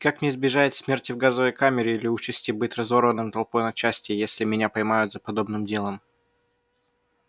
и как мне избежать смерти в газовой камере или участи быть разорванным толпой на части если меня поймают за подобным делом